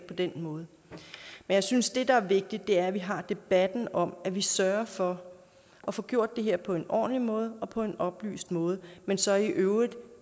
på den måde men jeg synes at det der er vigtigt er at vi har debatten om at vi sørger for at få gjort det her på en ordentlig måde og på en oplyst måde men så i øvrigt